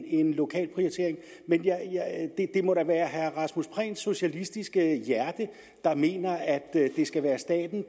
en lokal prioritering det må da være herre rasmus prehns socialistiske hjerte der mener at det skal være staten